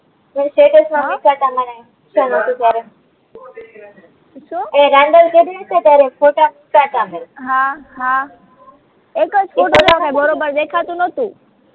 તે સ્ટેટસ માં મુય્કા તાતા મને ઇન્સ્તામાં હતું ત્યારે સુ એ રંડોળ કરાઈ હશે ત્યારે ફોટા મૂકા તા અમે હા હા